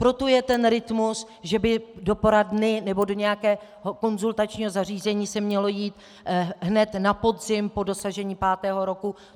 Proto je ten rytmus, že by do poradny nebo do nějakého konzultačního zařízení se mělo jít hned na podzim po dosažení pátého roku.